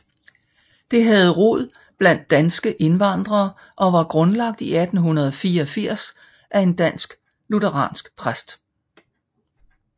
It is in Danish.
Det havde rod blandt danske indvandrere og var grundlagt i 1884 af en dansk lutheransk præst